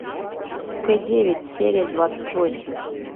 к девять серия двадцать восемь